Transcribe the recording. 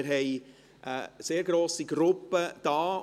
Es ist eine sehr grosse Gruppe da.